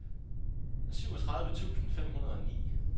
syvogtredive tusind fem hundrede og ni